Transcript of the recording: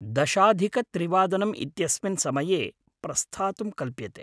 दशाधिकत्रिवादनम् इत्यस्मिन् समये प्रस्थातुं कल्प्यते ।